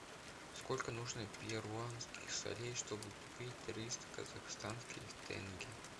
сколько нужно перуанских солей чтобы купить триста казахстанских тенге